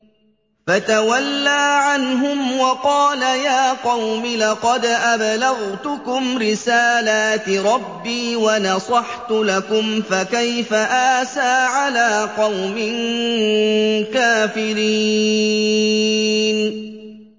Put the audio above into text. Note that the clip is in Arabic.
فَتَوَلَّىٰ عَنْهُمْ وَقَالَ يَا قَوْمِ لَقَدْ أَبْلَغْتُكُمْ رِسَالَاتِ رَبِّي وَنَصَحْتُ لَكُمْ ۖ فَكَيْفَ آسَىٰ عَلَىٰ قَوْمٍ كَافِرِينَ